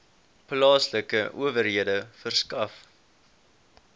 plaaslike owerhede verskaf